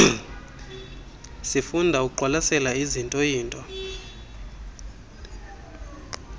sifunda ukuqwalasela izintooyinto